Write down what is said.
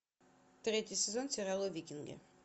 третий сезон сериала викинги